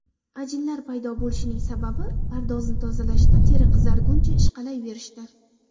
Ajinlar paydo bo‘lishining sababi pardozni tozalashda teri qizarguncha ishqalayverishdir.